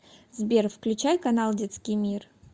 сбер включай канал детский мир